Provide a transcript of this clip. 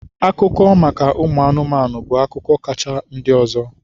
Akụkọ maka ụmụ anụmanụ bụ akụkọ kacha ndị ọzọ.